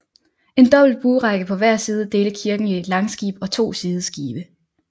En dobbelt buerække på hver side delte kirken i langskib og to sideskibe